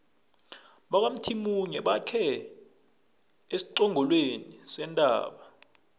bakwamthimunye bakhe esiqongolweni sentaba